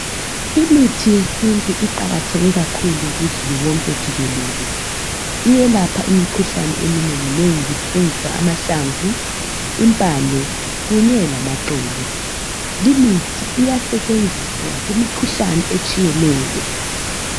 Imithi yesintu iqakatheke kakhulu kuzulu wonke jikelele. Iyelapha imikhuhlane eminengi nengi kusetshenziswa amahlamvu, impande kunye lamaxolo. Limithi iyasetshenziswa kumikhuhlane etshiyeneyo.